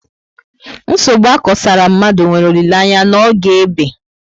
Nsogbu akosara mmadụ nwere olileanya n'oge ébé